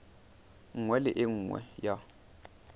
nngwe le e nngwe ya